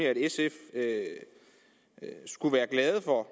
at sf skulle være glade for